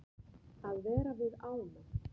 Að vera við ána.